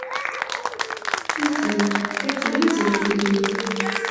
афина какие деньги в риме